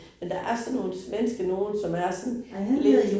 Men der er sådan nogen svenske nogen, som er sådan lidt